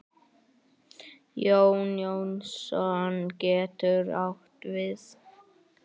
Jón Jónsson getur átt við